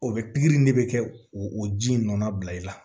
O bɛ pikiri ne bɛ kɛ o ji in nɔna bila i la